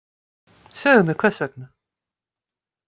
Segðu mér hvers vegna